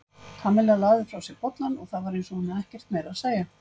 Kamilla lagði frá sér bollann og það var eins hún hefði ekkert meira að segja.